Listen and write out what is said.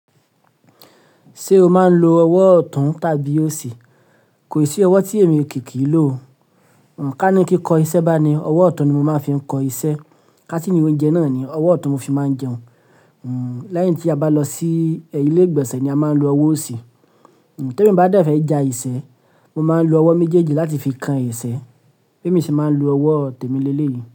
Ṣé o máa ń lo ọwọ́ ọ̀tún tàbí òsì? Kò sí ọwọ́ tí èmi kì í lò o. Ká ní kí kọ iṣẹ́ bá ni, ọwọ́ ọ̀tún ni mo máa ń fi ń kọ iṣẹ́. Ká si ni o jeun náà owó òtún ni mo fé máa jeun láì tí a bá lọ sí ílé ìgbésẹ̀ ni a máa ń lo ọwọ́ òsì. Témi ba dẹ fẹ̀ ja isẹ́, mo máa ń lo ọwọ́ méjèèjì láti fi kan isẹ́, bí èmi ṣe máa ń lo ọwọ́ tèmi lé lé yìí.